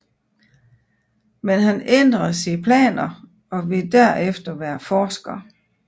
Men han ændrede sine planer og ville derefter være forsker